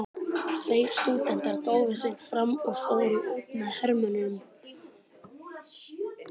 Tveir stúdentar gáfu sig fram og fóru út með hermönnunum.